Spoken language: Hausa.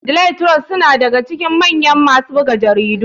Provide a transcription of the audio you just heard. Daily trust suna daga cikin mayan masu buga jaridu.